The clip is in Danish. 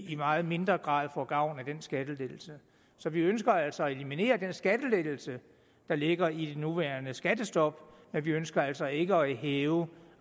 i meget mindre grad får gavn af den skattelettelse så vi ønsker altså at eliminere den skattelettelse der ligger i det nuværende skattestop men vi ønsker altså ikke at hæve